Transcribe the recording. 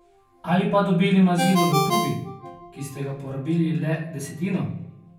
Ali pa dobili mazilo v tubi, ki ste ga porabili le desetino?